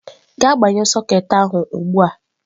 Gaa gbanyụọ soketị ahụ ugbu a